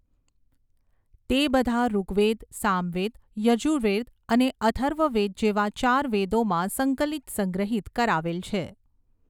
તે બધા ૠગ્વેદ સામવેદ યજૂર્વેદ અને અથર્વવેદ જેવા ચાર વેદોમાં સંકલિત સંગ્રહીત કરાવેલ છે.